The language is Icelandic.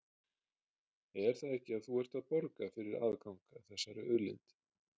Er það ekki að þú ert að borga fyrir aðgang að þessari auðlind?